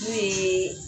N'o ye